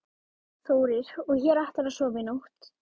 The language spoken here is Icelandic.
Þórir: Og hér ætlarðu að sofa í nótt?